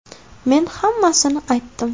Men hammasini aytdim”.